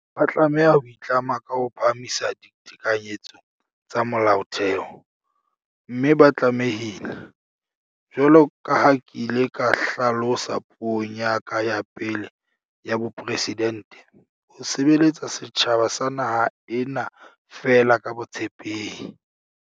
Ba tlameha ho itlama ka ho phahamisa ditekanyetso tsa Molaotheo, mme ba tlame hile, jwalo ka ha ke ile ka hla losa puong ya ka ya pele ya bopresidente, "ho sebeletsa setjhaba sa naha ena feela ka botshepehi".